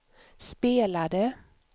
spelade